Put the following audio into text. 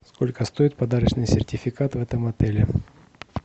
сколько стоит подарочный сертификат в этом отеле